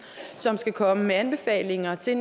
som netop skal komme med anbefalinger til